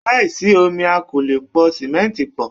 Láìsí omi a kò lè po simẹnti pọ̀.